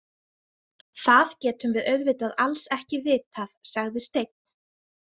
Það getum við auðvitað alls ekki vitað, sagði Steinn.